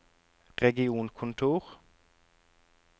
regionkontor